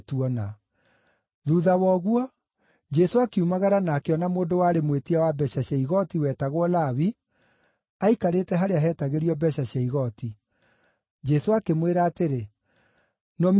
Thuutha wa ũguo, Jesũ akiumagara na akĩona mũndũ warĩ mwĩtia wa mbeeca cia igooti wetagwo Lawi aikarĩte harĩa heetagĩrio mbeeca cia igooti. Jesũ akĩmwĩra atĩrĩ, “Nũmĩrĩra.”